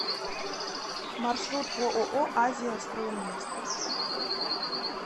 маршрут ооо азия строй инвест